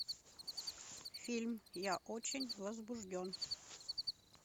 фильм я очень возбужден